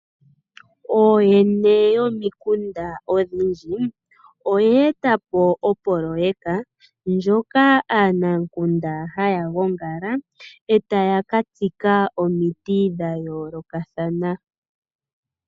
Ooyene yomikunda odhindji oye etapo Opoloteka ndjoka aanamukunda haya gongala etaya katsika omiti dha yoolokathana.